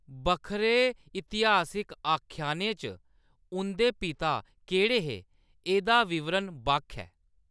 बक्खरे इतिहासिक आख्यानें च, उंʼदे पिता केह्‌‌ड़े हे, एह्‌‌‌दा विवरण बक्ख ऐ।